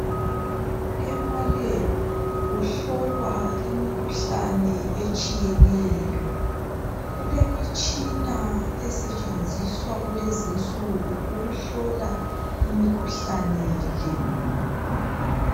Emalebhu kuhlolwa imikhuhlane etshiyeneyo. Kulemitshina esetshenziswa kulezinsuku ukuhlola imikhuhlane le.